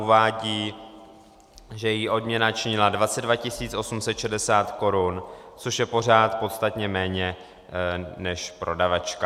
Uvádí, že její odměna činila 22 860 korun, což je pořád podstatně méně než prodavačka.